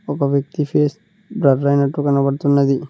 ఒక వ్యక్తి face blur అయినట్టు కనబడుతున్నది.